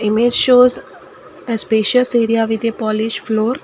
Image shows as spacious area with your polish floor.